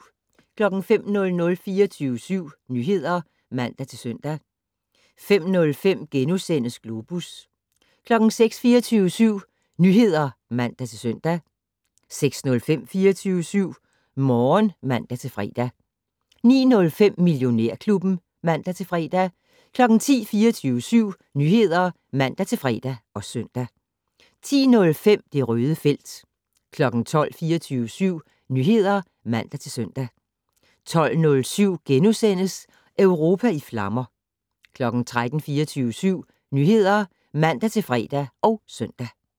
05:00: 24syv Nyheder (man-søn) 05:05: Globus * 06:00: 24syv Nyheder (man-søn) 06:05: 24syv Morgen (man-fre) 09:05: Millionærklubben (man-fre) 10:00: 24syv Nyheder (man-fre og søn) 10:05: Det Røde felt 12:00: 24syv Nyheder (man-søn) 12:07: Europa i flammer * 13:00: 24syv Nyheder (man-fre og søn)